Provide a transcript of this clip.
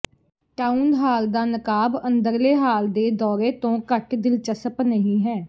town hall ਦਾ ਨਕਾਬ ਅੰਦਰਲੇ ਹਾਲ ਦੇ ਦੌਰੇ ਤੋਂ ਘੱਟ ਦਿਲਚਸਪ ਨਹੀਂ ਹੈ